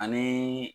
Ani